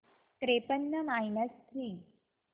त्रेपन्न minus three